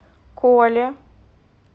коле